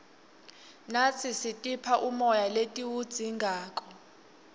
natsi sitipha umoya letiwudzingako